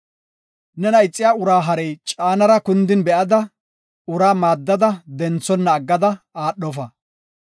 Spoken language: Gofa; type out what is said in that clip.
Nena ixiya uraa harey caanara kundin be7ada, uraa maaddada denthona aggada aadhofa.